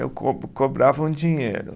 Eu co cobrava um dinheiro.